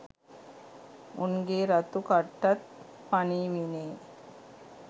උන්ගේ රතු කට්ටත් පනීවිනේ.